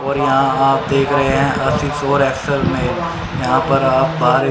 और यहां आप देख रहे हैं यहां पर आप बाहर--